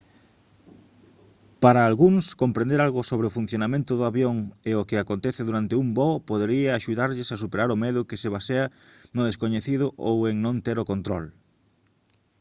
para algúns comprender algo sobre o funcionamento do avión e o que acontece durante un voo podería axudarlles a superar o medo que se basea no descoñecido ou en non ter o control